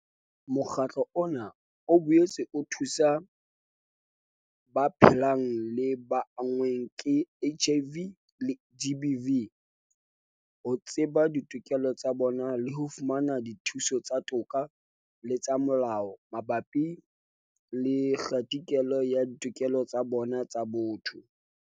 Mokgatlo ona o boetse o thusa ba phelang le ba anngweng ke HIV le GBV ho tseba ditokelo tsa bona le ho fumana dithuso tsa toka le tsa molao mabapi le kgatikelo ya ditokelo tsa bona tsa botho.